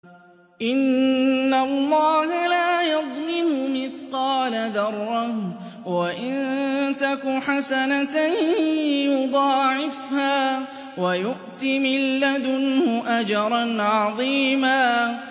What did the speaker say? إِنَّ اللَّهَ لَا يَظْلِمُ مِثْقَالَ ذَرَّةٍ ۖ وَإِن تَكُ حَسَنَةً يُضَاعِفْهَا وَيُؤْتِ مِن لَّدُنْهُ أَجْرًا عَظِيمًا